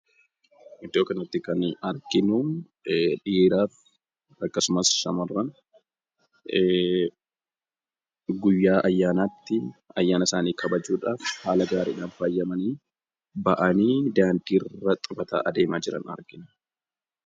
Iddoo kanatti kan arginu dhiiraa fi akkasumas shamarran guyyaa ayyaanaatti ayyaana isaanii kabajuudhaaf haala gaariidhaan faayamanii ba'anii daandiirra xabataa adeemaa jiran argina.